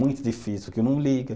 Muito difícil, porque eu não ligo.